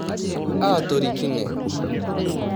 Aatorikine.